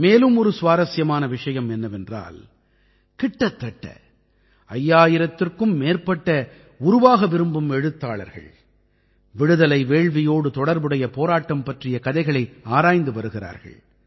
மேலும் ஒரு சுவாரசியமான விஷயம் என்னவென்றால் கிட்டத்தட்ட 5000த்திற்கும் மேற்பட்ட உருவாக விரும்பும் எழுத்தாளர்கள் விடுதலை வேள்வியோடு தொடர்புடைய போராட்டம் பற்றிய கதைகளை ஆராய்ந்து வருகிறார்கள்